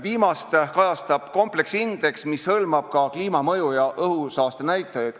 Viimast kajastab kompleksindeks, mis hõlmab ka kliimamõju- ja õhusaastenäitajaid.